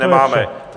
Nemáme.